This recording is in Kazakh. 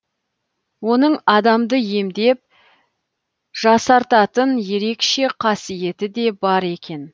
оның адамды емдеп жасартатын ерекше қасиеті де бар екен